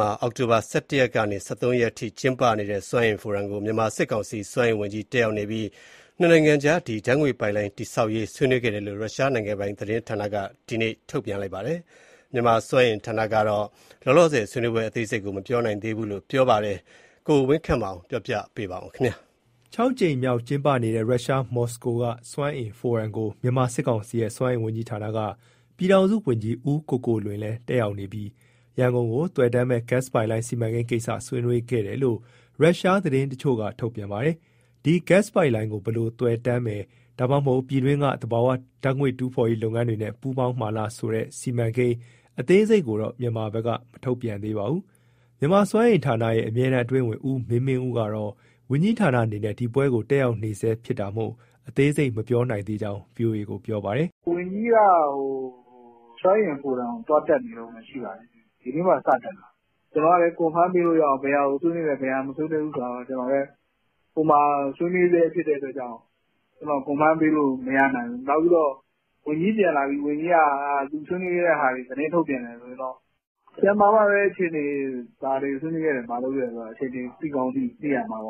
မှာ အောက်တိုဘာလ ၁၁ ရက်ကနေ ၁၃ ရက်အထိ သုံးရက်တာကျင်းပနေတဲ့ စွမ်းအင်ဖိုရမ်ကို မြန်မာစစ်ကောင်စီ စွမ်းအင်ဌာနကပြည်ထောင်စုဝန်ကြီး တက်ရောက်နေပြီး ရုရှား-မြန်မာ နှစ်နိုင်ငံကြား ဓာတ်ငွေ့ပိုက်လိုင်း တည်ဆောက်ရေး ကိစ္စကို ဆွေးနွေးခဲ့တယ်လို့ ရုရှားနိုင်ငံပိုင် သတင်းဌာနတခုက ဒီနေ့ ဗုဒ္ဓဟူးနေ့မှာ ထုတ်ပြန်ပါတယ်။ မြန်မာစွမ်းအင်ဌာနကတော့ လောလောဆယ် ဆွေးနွေးပွဲ အသေးစိတ်ကို မပြောနိုင်သေးကြောင်း ဗွီအိုအေကို ပြောပါတယ်။ ရန်ကုန်က ပေးပို့တဲ့ သတင်းကို အခြေခံပြီး ကိုဝင်းခန့်မောင်က ပြောပြမှာပါ။ ၆ ကြိမ်မြောက် ကျင်းပနေတဲ့ ရုရှား မော်စကိုမြို့က စွမ်းအင်ဖိုရမ်ကို မြန်မာစစ်ကောင်စီရဲ့ စွမ်းအင်ဝန်ကြီးဌာနက ပြည်ထောင်စုဝန်ကြီး ဦးကိုကိုလွင်လည်း တက်ရောက်နေပြီး ရန်ကုန်ကို သွယ်တန်းမဲ့ ဓာတ်ငွေ့ပိုက်လိုင်း စီမံကိန်းကိစ္စကို ဆွေးနွေးခဲ့တယ်လို့ ရုရှားသတင်းတချို့က ထုတ်ပြန်ပါတယ်။ ဒီ ဓာတ်ငွေ့ပိုက်လိုင်းကို ဘယ်လိုသွယ်တန်းမယ်၊ ဒါမှမဟုတ် မြန်မာပြည်တွင်းက သဘာဝဓာတ်ငွေ့ တူးဖော်ရေး လုပ်ငန်းတွေနဲ့ ပူးပေါင်းမှာလားဆိုတဲ့ စီမံကိန်း အသေးစိတ်ကိုတော့ မြန်မာဘက်က မထုတ်ပြန်သေးပါဘူး။ မြန်မာစွမ်းအင်ဌာနရဲ့ အမြဲတမ်း အတွင်းဝန် ဦးမင်းမင်းဦးကတော့ ဝန်ကြီဌာနအနေနဲ့ ဒီပွဲကို တက်ရောက်နေဆဲဖြစ်တာမို့ အသေးစိတ်ကို မပြောနိုင်သေးကြောင်း ဗွီအိုအေကို ပြောပါတယ်။ “ဝန်ကြီးက စွမ်းအင်ဖိုရမ်ကို သွားတက်နေတုန်းပဲ ရှိပါသေးတယ်၊ ဒီနေ့မှ စတက်တာပေါ့။ ကျနော်လည်း confirm ပေးလို့ရအောင် ဘယ်ဟာကို ဆွေးနွေးတယ် မဆွေးနွေးဘူးဆိုတာ ဟိုမှာ ဆွေးနွေးဆဲဖြစ်လို့ ပေးလို့မရနိုင်ဘူး။ ဝန်ကြီးကပြန်လာပြီး ဆွေးနွေးတာတွေ သတင်း ထုတ်ပြန်တယ် ဆိုရင်တော့ ပြန်လာမှပဲ ဘာတွေဆွေးနွေးလဲ ဘာလုပ်ခဲ့တယ် အခြေအနေ သိကောင်းသိရမှာ။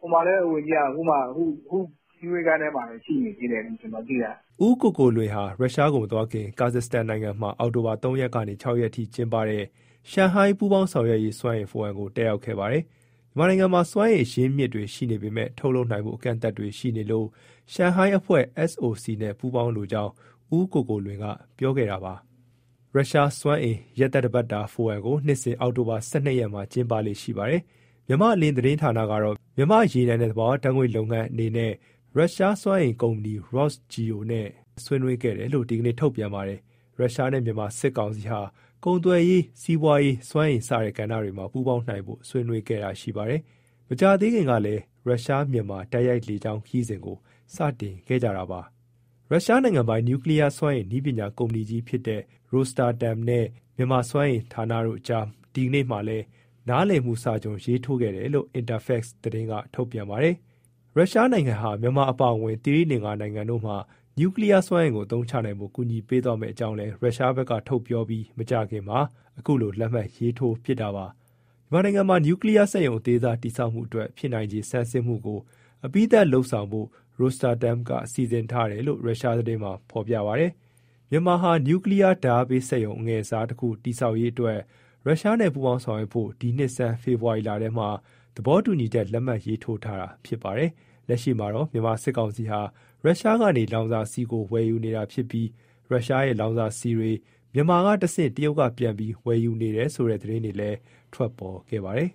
ဟိုမှာလည်း ဝန်ကြီးက အခုမှ ဆွေးနွေးခန်းထဲမှာပဲ ရှိနေသေးတယ်လို့ ကျနော်သိရတယ်။” ဦးကိုကိုလွင်ဟာ ရုရှားကိုမသွားခင် ကာဇတ်စတန်နိုင်ငံမှာ အောက်တိုဘာလ ၃ရက်ကနေ ၆ရက်အထိကျင်းပတဲ့ ရှန်ဟိုင်း ပူးပေါင်းဆောင်ရွက်ရေး စွမ်းအင်ဖိုရမ်ကို တက်ရောက်ခဲ့ပါတယ်။ မြန်မာနိုင်ငံမှာ စွမ်းအင် အရင်းအမြစ်တွေ ရှိနေပေမဲ့ ထုတ်လုပ်နိုင်ဖို့ အကန့်အသတ်တွေ ရှိနေလို့ ရှန်ဟိုင်းအဖွဲ့ SOC နဲ့ ပူးပေါင်းလိုကြောင်း ဦးကိုကိုလွင်က ပြောခဲ့တာပါ။ ရုရှားစွမ်းအင် ရက်သတ္တပတ်တာ ဖိုရမ်ကို နှစ်စဉ် အောက်တိုဘာလ ၁၂ရက်မှာ ကျင်းပလေ့ရှိပါတယ်။ မြန်မာ့အလင်း သတင်းဌာနကတော့ မြန်မာ့ရေနံနှင့် သဘာဝဓာတ်ငွေ့လုပ်ငန်း အနေနဲ့ ရုရှားစွမ်းအင်ကုမ္ပဏီ ROSGEO နဲ့ ဆွေးနွေးခဲ့တယ်လို့ ဒီနေ့ထုတ်ပြန်ပါတယ်။ ရုရှားနဲ့ မြန်မာစစ်ကောင်စီဟာ ကုန်သွယ်ရေး၊ စီးပွာရေး၊ စွမ်းအင် စတဲ့ကဏ္ဍတွေမှာ ပူးပေါင်းနိုင်ဖို့ ဆွေးနွေးခဲ့တာ ရှိပါတယ်။ မကြာသေးခင်ကလည်း ရုရှား-မြန်မာ တိုက်ရိုက်လေကြောင်း ခရီးစဉ်ကို စတင်ခဲ့ကြပါတယ်။ ရုရှား နိင်ငံပိုင် နျူကလီယား စွမ်းအင် နည်းပညာကုမ္ပဏီကြီးဖြစ်တဲ့ ROSATOM နဲ့ မြန်မာစွမ်းအင်ဌာနတို့ အကြားမှာလည်း ဒီနေ့ နားလည်မှု စာချွန်ကို ရေးထိုးခဲ့တယ်လို့ Interfax က ထုတ်ပြန်ပါတယ်။ ရုရှားနိုင်ငံဟာ မြန်မာအပါအဝင် သီရိလင်္ကာ နိုင်ငံတို့မှာ နျူကလီယား စွမ်းအင်ကို အသုံးချနိုင်ဖို့ ကူညီပေးသွားမဲ့အကြောင်းလည်း ရုရှားဘက်က ထုတ်ပြောပြီး မကြာခင်မှာ အခုလို လက်မှတ်ရေးထိုးဖြစ်တာပါ။ မြန်မာနိုင်ငံမှာ နျူကလီယားစက်ရုံ အသေးစားတည်ဆောက်မှု အတွက် ဖြစ်နိုင်ချေ ဆန်းစစ်မှုကို အပြီးသတ်လုပ်ဆောင်ဖို့ Rosatom က စီစဉ်ထားတယ်လို့လည်း ရုရှားသတင်းမှာ ဖေါ်ပြပါတယ်။ မြန်မာဟာ နျူကလီယား ဓါတ်အားပေးစက်ရုံ အငယ်စားတခု တည်ဆောက်ရေးအတွက် ရုရှားနဲ့ ပူးပေါင်းဆောင်ရွက်ဖို့ ဒီနှစ်ဆန်း ဖေဖေါ်ဝါရီလထဲမှာ သဘောတူညီချက် လက်မှတ်ရေးထိုးထားတာ ဖြစ်ပါတယ်။ လက်ရှိမှာတော့ မြန်မာစစ်ကောင်စီဟာ ရုရှားကနေ လောင်စာဆီကို ဝယ်ယူနေတာ ဖြစ်ပြီး ရုရှားရဲ့ လောင်စာဆီတွေ မြန်မာကတဆင့် တရုတ်ကပြန်ပြီး ဝယ်ယူနေတယ်ဆိုတဲ့ သတင်းတွေလည်း ထွက်ပေါ်ခဲ့ပါတယ်။